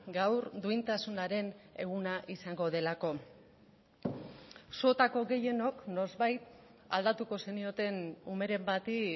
gaur duintasunaren eguna izango delako zuetako gehienok noizbait aldatuko zenioten umeren bati